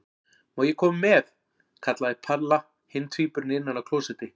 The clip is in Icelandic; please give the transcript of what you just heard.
Má ég koma með? kallaði Palla hinn tvíburinn innan af klósetti.